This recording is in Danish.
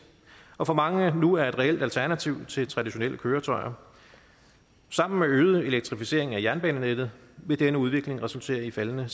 og for mange nu er et reelt alternativ til traditionelle køretøjer sammen med øget elektrificering af jernbanenettet vil denne udvikling resultere i faldende